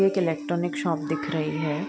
एक electronic shop दिख रही है। ]